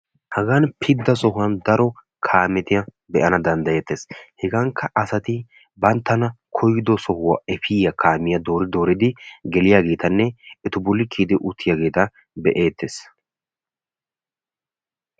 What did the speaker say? Hagan pidda sohuwan daro kaametta be'ettes. Hagankka asati banttana koyido sohuwaa efiyaa kaamiya doori dooridi geliyaagetanne etu bolli kiyidi uttiyaageeta be''eettees